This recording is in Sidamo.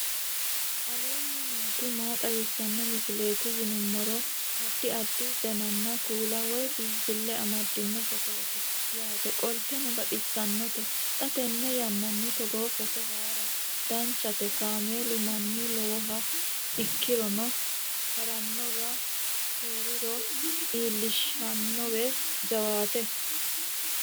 aleenni nooti maa xawisanno misileeti yinummoro addi addi dananna kuula woy biinfille amaddino footooti yaate qoltenno baxissannote xa tenne yannanni togoo footo haara danchate kaameelu mannu lowoha ikkironna harannowi heeriro iillishshannowe jawaate